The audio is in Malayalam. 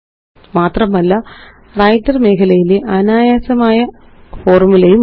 മാത്രമല്ലWriter മേഖലയിലെ അനായാസമായ ഫോര്മുലയുമുണ്ട്